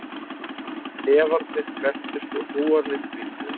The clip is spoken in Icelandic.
Hnefarnir krepptust og hnúarnir hvítnuðu